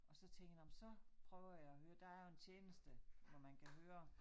Og så tænker jeg nåh men så prøver jeg at høre. Der er jo en tjeneste hvor man kan høre